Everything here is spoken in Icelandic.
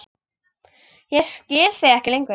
Ég skil þig ekki lengur.